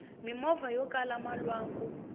mimovha yokala malwanku